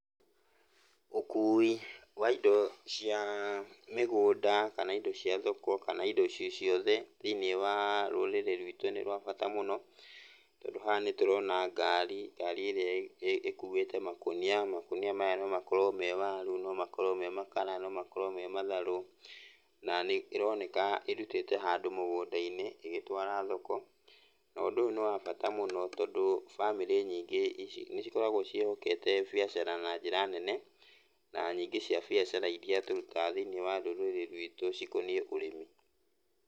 Ũkui wa indo cia mĩgũnda kana indo cia thoko, kana indo cio ciothe thĩiniĩ wa rũrĩrĩ rwitũ nĩ rwa bata mũno, tondũ haha nĩ tũrona ngari, ngari ĩrĩa ĩkuĩte makũnia. Makũnia maya no makorwo me waru, no makorwo me makara, no makorwo me matharũ, na nĩ ĩroneka ĩrutĩte handũ mũgũnda-inĩ ĩgĩtwara thoko, na ũndũ ũyũ nĩ wa bata mũno tondũ bamĩrĩ nyingĩ nĩ cikoragwo ciĩhokete biacara na njĩra nene, na nyingĩ cia biacara iria tũrutaga thĩiniĩ wa rũrĩrĩ rwitũ cikoniĩ ũrĩmi.